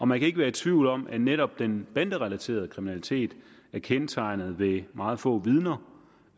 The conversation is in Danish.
man kan ikke være i tvivl om at netop den banderelaterede kriminalitet er kendetegnet ved meget få vidner